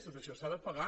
tot això s’ha de pagar